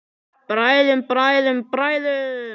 Bræðum, bræðum, bræðum.